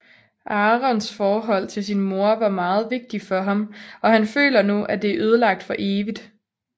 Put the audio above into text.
Aarons forhold til sin mor var meget vigtigt for ham og han føler nu at det er ødelagt for evigt